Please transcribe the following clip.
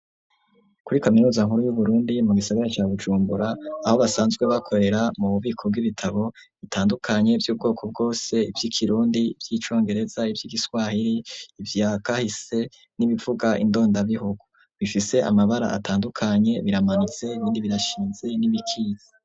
Kuri kaminuza nkuru y'uburundi mu gisagara ca bujumbura aho basanzwe bakorera mu bubiko bw'ibitabo bitandukanye vy'ubwoko bwose ivy'ikirundi, vy'icongereza ivy'ikiswahiri ivya kahise n'ibivuga indondabihugu, bifise amabara atandukanye, biramanitse ibindi birashinze n'ibikisi.